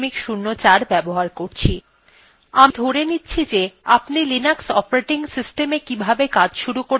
আমি ধরে নিচ্ছি যে আপনি linux operating systemwe কিভাবে কাজ শুরু করতে হয় ত়া জানেন এবং মৌলিক র্নিদেশাবলী সম্বন্ধে আপনার কিছু ধারনার রয়েছে